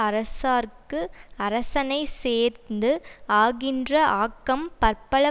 அரசார்க்கு அரசனைச் சேர்ந்து ஆகின்ற ஆக்கம் பற்பல